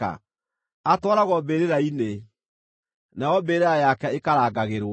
Atwaragwo mbĩrĩra-inĩ, nayo mbĩrĩra yake ĩkarangagĩrwo.